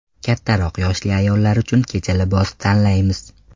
Kattaroq yoshli ayollar uchun kecha libosi tanlaymiz.